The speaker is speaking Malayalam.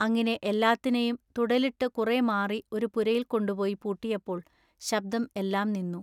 അങ്ങിനെ എല്ലാത്തിനെയും തുടലിട്ടു കുറെ മാറി ഒരു പുരയിൽകൊണ്ടുപോയി പൂട്ടിയപ്പോൾ ശബ്ദം എല്ലാംനിന്നു.